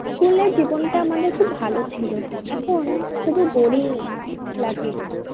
School এর জীবনটা আমাদের খুব ভালো ছিল। এখন শুধু boring লাগে।